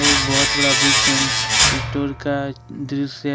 एक बहुत बड़ा बुक्स एंड स्टोर का दृश्य है।